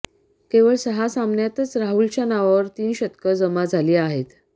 केवळ सहा सामन्यांतच राहुलच्या नावावर तीन शतकं जमा झाली आहेत